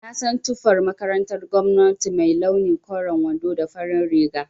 Na san tufar makarantar gwamnati mai launi koren wando da farin riga